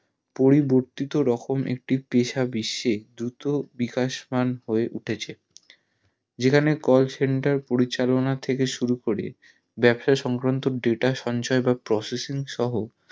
পড়িবর্তীত রকম একটি পেশা বিশ্বে দ্রুত বিকাশমান হয় উঠেছে যেখানে call center পরিচালনা থেকে শুরু করে বাবসাসংক্রান্ত data সঞ্চয় বা processing সহ